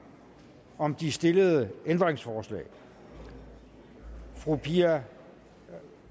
om de stillede ændringsforslag fru pia